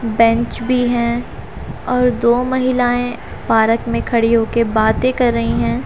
Bench भी हैं और दो महिलाएं पार्क में खड़ी हो के बातें कर रही हैं।